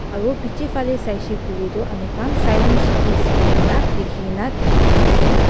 aru piche fali saishe kuile tu ami khan silence please kuina likhi na dikhi pai ase.